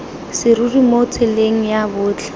serori mo tseleng ya botlhe